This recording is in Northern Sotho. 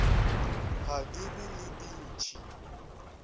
ga di be le dintšhi